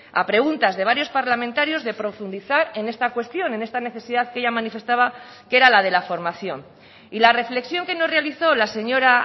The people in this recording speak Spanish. a preguntas de varios parlamentarios de profundizar en esta cuestión en esta necesidad que ella manifestaba que era la de la formación y la reflexión que nos realizó la señora